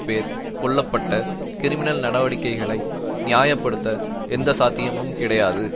பேர் கொல்ல பட்ட கிறிமினல் நடவடிக்கைகளை நியாய படுத்த எந்த சாத்தியமும் கிடையாது